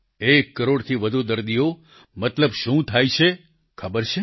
એક કરોડથી વધુ દર્દીનો મતલબ શું થાય છે ખબર છે